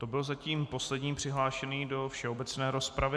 To byl zatím poslední přihlášený do všeobecné rozpravy.